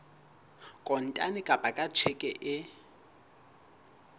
kontane kapa ka tjheke e